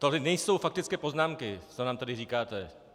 Tohle nejsou faktické poznámky, co nám tady říkáte.